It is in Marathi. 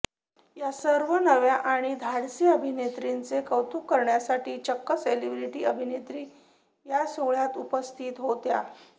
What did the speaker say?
या सर्व नव्या आणि धाडसी अभिनेत्रींचे कौतुक करण्यासाठी चक्क सेलेब्रिटी अभिनेत्री या सोहळ्याला उपस्थित होत्या